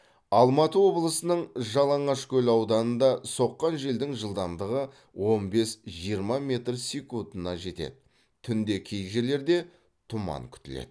алматы облысының жалаңашкөл ауданында соққан желдің жылдамдығы он бес жиырма метр секунтына жетеді түнде кей жерлерде тұман күтіледі